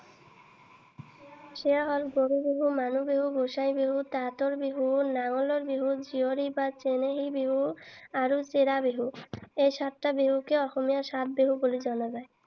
সেইয়া হল গৰু বিহু, মানুহ বিহু, গোসাই বিহু, তাঁতৰ বিহু, নাঙলৰ বিহু, জীয়ৰী বা চেনেহী বিহু আৰু চিৰা বিহু। এই সাতটা বিহুকে অসমীয়াৰ সাত বিহু বুলি জনা যায়।